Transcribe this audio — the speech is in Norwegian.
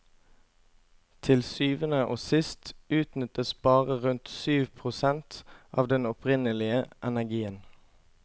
Til syvende og sist utnyttes bare rundt syv prosent av den opprinnelige energien.